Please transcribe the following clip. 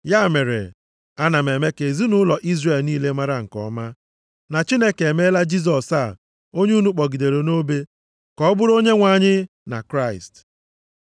“Ya mere, ana m eme ka ezinaụlọ Izrel niile mara nke ọma, na Chineke emeela Jisọs a onye unu kpọgidere nʼobe ka ọ bụrụ Onyenwe anyị na Kraịst.”